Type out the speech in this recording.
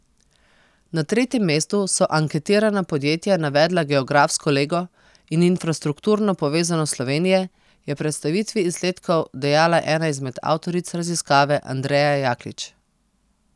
Na tretjem mestu so anketirana podjetja navedla geografsko lego in infrastrukturno povezanost Slovenije, je predstavitvi izsledkov dejala ena izmed avtoric raziskave Andreja Jaklič.